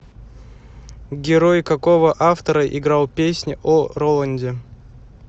герой какого автора играл песнь о роланде